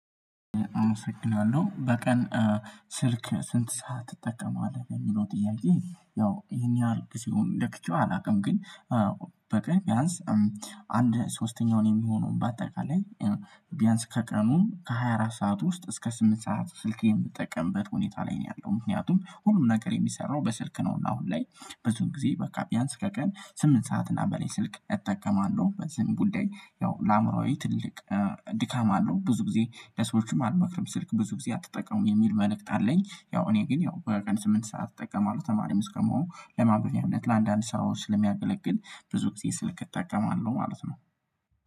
አመሰግናለሁ በቀን ስልክ ስንት ሰዓት ትጠቀማለህ? የሚለው ጥያቄ ያው ይሄን ያህል ሲሆን ለክቼው አላውቅም ግን በቃ ቢያንስ አንድ ሶስተኛውን የሚሆነው በአጠቃላይ ቢያንስ ከቀኑ ከሃያ አራት ሰዓት ውስጥ እስከ ስምንት ሰዓት ስልክ የምጠቀምበት ሁኔታ ላይ ነው ያለው ምክንያቱም ሁሉም ነገር የሚሰራው በስልክ ነው እና አሁን ላይ ብዙን ጊዜ በቃ ቢያንስ ከቀን ስምንት ሰዓት እና በሌ ስልክ እጠቀማለሁ በዚህም ጉዳይ ያው ለአእምሮአዊ ትልቅ ድካም አለው ብዙ ጊዜ ለሰዎችም አልመክርም ስልክ ብዙ ጊዜ አትጠቀምም የሚል መልእክት አለኝ ያው እኔ ግን ያው በቀን ስምንት ሰዓት እጠቀማለሁ ተማሪም እስከመሆኑ ለማበቢያነት ለአንዳንድ ሰዎች ለሚያገለግል ብዙ ጊዜ ስልክ እጠቀማለሁ ማለት ነው